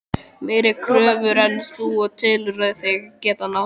Meiri kröfur en þú telur þig geta náð?